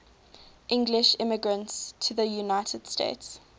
english immigrants to the united states